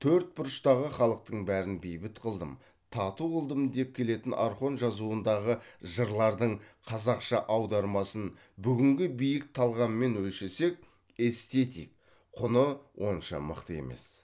төрт бұрыштағы халықтың бәрін бейбіт қылдым тату қылдым деп келетін орхон жазуындағы жырлардың қазақша аудармасын бүгінгі биік талғаммен өлшесек эстетик құны онша мықты емес